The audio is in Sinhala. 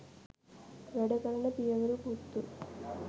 වැඩ කරන පියවරු පුත්තු